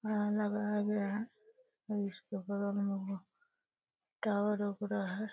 लगाया गया है। और इसके बगल में टावर उगरा है।